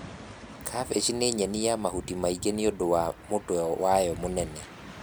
kabeci nĩnyeni ya mahuti maingi nĩũndũ wa mũtwe wayo mũnene.